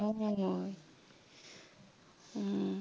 উম উম